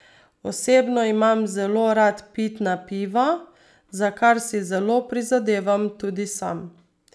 Osebno imam rad zelo pitna piva, za kar si zelo prizadevam tudi sam.